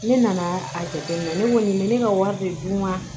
Ne nana a jateminɛ ne kɔni bɛ ne ka wari de dun wa